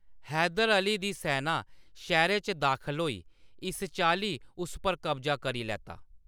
हैदर अली दी सैना शैह्‌रै च दाखल होई, इस चाल्ली उस पर कब्जा करी लैता।